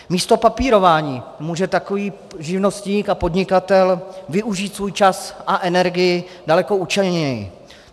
Místo papírování může takový živnostník a podnikatel využít svůj čas a energii daleko účelněji.